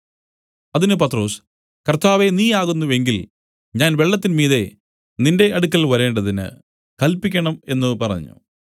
അതിന് പത്രൊസ് കർത്താവേ നീ ആകുന്നു എങ്കിൽ ഞാൻ വെള്ളത്തിന്മീതെ നിന്റെ അടുക്കൽ വരേണ്ടതിന് കല്പിക്കണം എന്നു പറഞ്ഞു